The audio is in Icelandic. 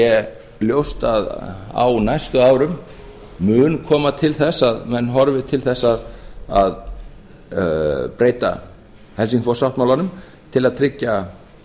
sé ljóst að á næstu árum mun koma til þess að menn horfi til þess að breyta helsingfors sáttmálanum til að tryggja